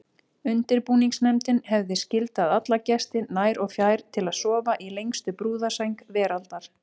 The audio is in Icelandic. Undirbúningsnefndin hefði skyldað alla gesti nær og fjær til að sofa í lengstu brúðarsæng veraldar.